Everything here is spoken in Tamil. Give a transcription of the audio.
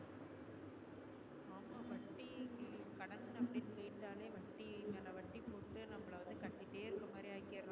கேட்டாலே வட்டி மேல வட்டி போட்டு நம்மள வந்து கட்டிட்டு இருகுறமாதிரி ஆகிடறா